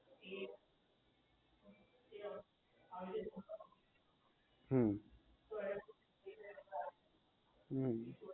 હમ